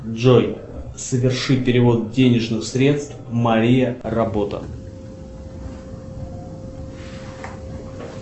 джой соверши перевод денежных средств мария работа